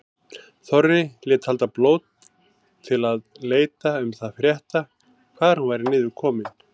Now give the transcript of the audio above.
Þorri lét halda blót til að leita um það frétta hvar hún væri niður komin.